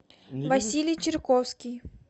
василий чирковский